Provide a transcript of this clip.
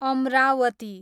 Amravati